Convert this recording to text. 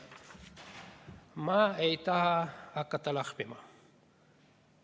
Ma ei taha hakata lahmima.